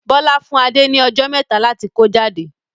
Bọlá fún Adé ni ọjọ́ mẹta láti kó jáde.